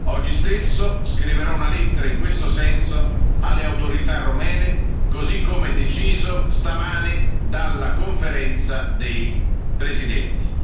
Oggi stesso scriverò una lettera in questo senso alle autorità romene, così come deciso stamane dalla Conferenza dei presidenti.